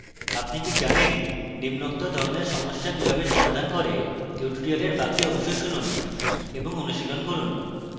আপনি কি জানেন নিম্নোক্ত ধরণের সমস্যা কিভাবে সমাধান করে: tutorial বাকি অংশ শুনুন এবং অনুশীলন করুন